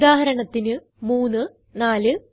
ഉദാഹരണത്തിന് 3 4